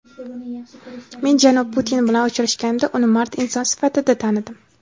Men janob Putin bilan uchrashganimda uni mard inson sifatida tanidim.